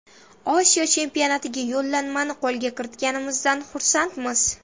Osiyo chempionatiga yo‘llanmani qo‘lga kiritganimizdan xursandmiz.